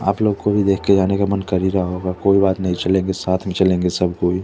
आप लोग को भी देख के जाने का मन कर ही रहा होगा कोई बात नहीं चलेंगे साथ में चलेंगे सब कोई।